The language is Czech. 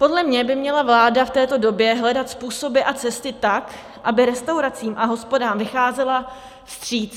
Podle mě by měla vláda v této době hledat způsoby a cesty tak, aby restauracím a hospodám vycházela vstříc.